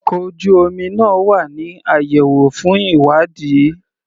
Ọkò ojú omi náà wà ní àyẹ̀wò fún ìwádìí.